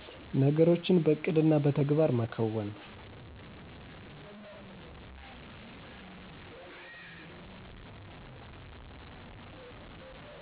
ነገሮችን በዕቅድና በተግባር መከወን